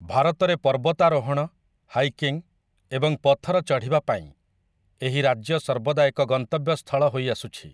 ଭାରତରେ ପର୍ବତାରୋହଣ, ହାଇକିଂ ଏବଂ ପଥର ଚଢ଼ିବା ପାଇଁ ଏହି ରାଜ୍ୟ ସର୍ବଦା ଏକ ଗନ୍ତବ୍ୟସ୍ଥଳ ହୋଇ ଆସୁଛି ।